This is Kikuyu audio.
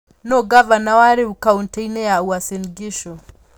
Nũũ ngavana wa rĩu kaũntĩ-inĩ ya Uasin Gishu?